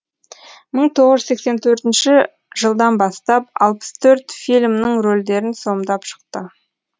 мың тоғыз жүз сексен төртінші жылдан бастап алпыс төрт фильмнің рөлдерін сомдап шықты